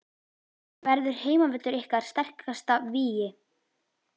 Verður heimavöllurinn ykkar sterkasta vígi?